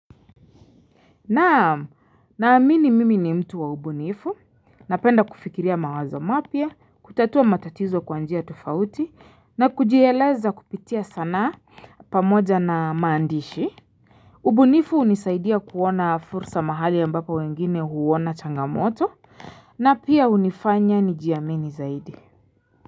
Naam naamini mimi ni mtu wa ubunifu, napenda kufikiria mawazo mapya, kutatua matatizo kwa njia tofauti na kujieleza kupitia sanaa pamoja na maandishi. Ubunifu hunisaidia kuona fursa mahali ambapo wengine huona changamoto na pia hunifanya nijiamini zaidi.